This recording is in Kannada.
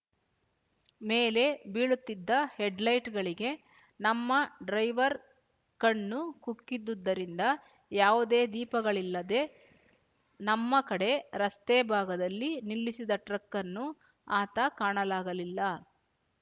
ಮೇಲೆ ಬೀಳುತ್ತಿದ್ದ ಹೆಡ್‍ಲೈಟ್‍ಗಳಿಗೆ ನಮ್ಮ ಡ್ರೈವರ್ ಕಣ್ಣು ಕುಕ್ಕಿದುದ್ದರಿಂದ ಯಾವುದೇ ದೀಪಗಳಿಲ್ಲದೆ ನಮ್ಮ ಕಡೆ ರಸ್ತೆ ಭಾಗದಲ್ಲಿ ನಿಲ್ಲಿಸಿದ ಟ್ರಕ್ಕನ್ನು ಆತ ಕಾಣಲಾಗಲಿಲ್ಲ